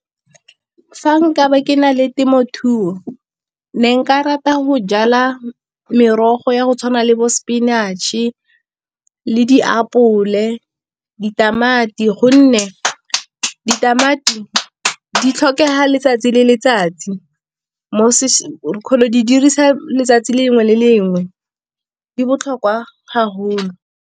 Fa nka ba ke na le temothuo ke ne nka rata go jala merogo ya go tshwana le bo spinach-e le diapole, ditamati gonne ditamati di tlhokega letsatsi le letsatsi mo di dirisa letsatsi lengwe le lengwe di botlhokwa haholo.